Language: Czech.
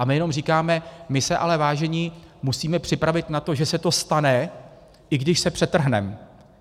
A my jenom říkáme: my se ale, vážení, musíme připravit na to, že se to stane, i když se přetrhneme.